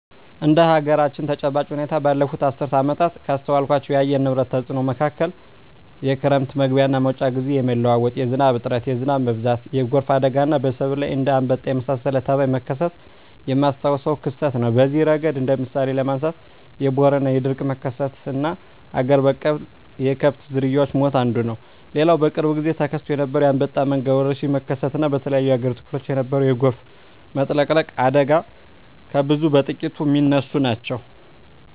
እንደ አገራችን ተጨባጭ ሁኔታ ባለፋት አስርት ዓመታት ካስተዋልኳቸው የአየር ንብረት ተጽኖ መካከል የክረም መግቢያና መውጫ ግዜ የመለዋወጥ፣ የዝናብ እጥረት፣ የዝናብ መብዛት፣ የጎርፍ አደጋና በሰብል ላይ እንደ አንበጣ የመሳሰለ ተባይ መከሰት የማስታውሰው ክስተት ነው። በዚህ እረገድ እንደ ምሳሌ ለማንሳት የቦረና የድርቅ መከሰትና አገር በቀል የከብት ዝርያወች ሞት አንዱ ነው። ሌላው በቅርብ ግዜ ተከስቶ የነበረው የአንበጣ መንጋ ወረርሽኝ መከሰት እና በተለያዮ የአገሪቱ ክፍሎች የነበረው የጎርፍ መጥለቅለቅ አደጋ ከብዙ በጥቂቱ ሚነሱ ናቸው።